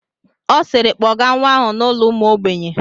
Ọ siiri, kpọgaa nwa ahụ n'ụlọ ụmụ ogbenye!